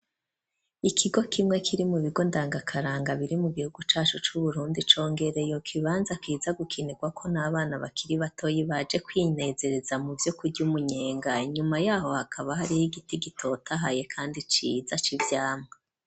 Ikigo kimwe kiri mu bigo ndangakaranga biri mu gihugu cacu cu Burundi, congereye ikibanza kiza gukinirwako n'abana bakiri batoyi baje kwinezereza muvyo kurya umunyenga, inyuma yaho hakaba hariho igiti gitotahaye kandi ciza civyamwa.